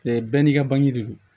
bɛɛ n'i ka bange de don